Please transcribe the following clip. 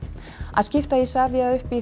að skipta Isavia í